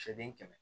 Se den kɛmɛ